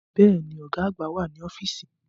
Bẹ́ẹ̀ni, Ọ̀gá àgbà wà ní ọ́fíìsì